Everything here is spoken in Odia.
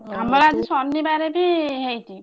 ଆମର ଆଜି ଶନିବାରେ ବି ହେଇଛି।